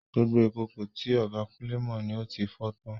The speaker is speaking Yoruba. Gbogbo ìkòkò tí ọ̀gá Kunle mọ ni ó fi fọ́ tán.